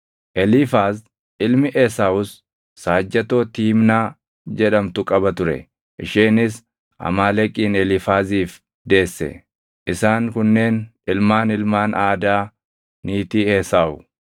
Eliifaaz ilmi Esaawus saajjatoo Tiimnaa jedhamtu qaba ture; isheenis Amaaleqin Eliifaaziif deesse. Isaan kunneen ilmaan ilmaan Aadaa niitii Esaawu.